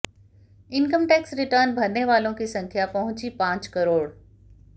income tax return भरने वालों की संख्या पहुंची पांच करोड़